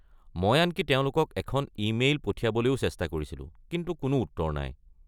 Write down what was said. মই আনকি তেওঁলোকক এখন ইমেইল পঠিয়াবলৈ চেষ্টা কৰিছিলোঁ কিন্তু কোনো উত্তৰ নাই।